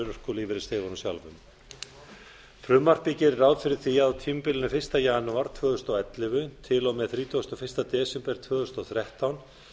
örorkulífeyrisþegunum sjálfum frumvarpið gerir ráð fyrir því að á tímabilinu fyrsta janúar tvö þúsund og ellefu til og með þrítugasta og fyrsta desember tvö þúsund og þrettán